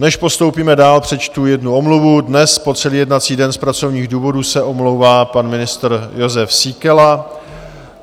Než postoupíme dál, přečtu jednu omluvu: dnes po celý jednací den z pracovních důvodů se omlouvá pan ministr Jozef Síkela.